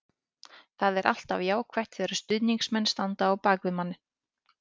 Það er alltaf jákvætt þegar stuðningsmenn standa á bak við manni.